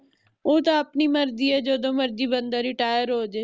ਓਹ ਤਹ ਆਪਣੀ ਮਰਜ਼ੀ ਹੈ ਜਦੋਂ ਮਰਜ਼ੀ ਬੰਦਾ retire ਹੋਜੇ